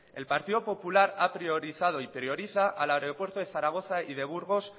el partido popular ha priorizado y prioriza al aeropuerto de zaragoza y de burgos